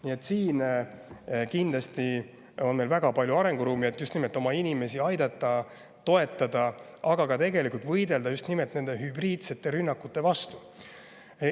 Nii et siin on kindlasti meil väga palju arenguruumi, et oma inimesi aidata, toetada, aga tegelikult ka võidelda just nimelt hübriidrünnakute vastu.